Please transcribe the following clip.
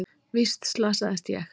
Víst slasaðist ég.